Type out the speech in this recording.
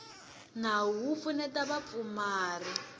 nawu wo pfuneta vapfumari nawu